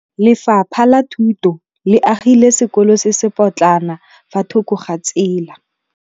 Lefapha la Thuto le agile sekôlô se se pôtlana fa thoko ga tsela.